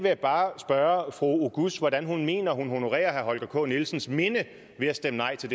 jeg bare spørge fru halime oguz hvordan hun mener at hun honorerer herre holger k nielsens minde ved at stemme nej til